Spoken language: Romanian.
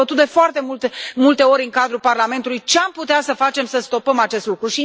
Am dezbătut de foarte multe ori în cadrul Parlamentului ce am putea să facem să stopăm acest lucru.